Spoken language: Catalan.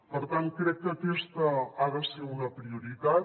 per tant crec que aquesta ha de ser una prioritat